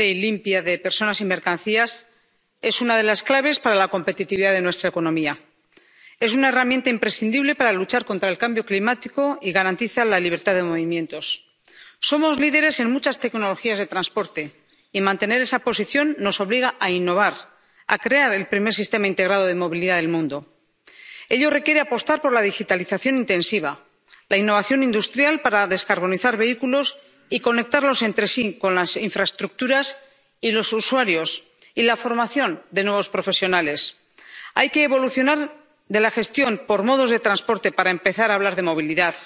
Señora presidenta, bienvenida comisaria, la movilidad eficiente, sostenible y limpia de personas y mercancías es una de las claves para la competitividad de nuestra economía. Es una herramienta imprescindible para luchar contra el cambio climático y garantiza la libertad de movimientos. Somos líderes en muchas tecnologías de transporte, y mantener esa posición nos obliga a innovar, a crear el primer sistema integrado de movilidad del mundo. Ello requiere apostar por la digitalización intensiva, la innovación industrial para descarbonizar vehículos y conectarlos entre sí, con las infraestructuras y los usuarios, y la formación de nuevos profesionales. Hay que evolucionar en la gestión por modos de transporte para empezar a hablar de movilidad.